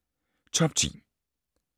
Top 10